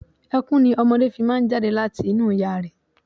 Ẹkún ni ọmọdé fi máa ń jáde láti inú ìyá rẹ̀.